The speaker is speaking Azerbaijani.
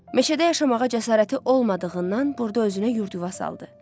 Meşədə yaşamağa cəsarəti olmadığınıdan burada özünə yurd-yuva saldı.